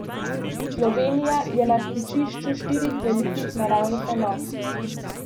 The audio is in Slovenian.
Slovenija je na stičišču štirih velikih naravnih enot.